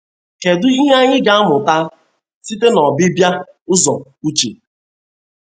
Kedụ ihe anyị ga amụta site n’Obibia ụzọ Uche.